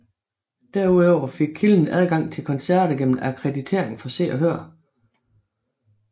Derudover fik kilden adgang til koncerter gennem akkreditering for Se og Hør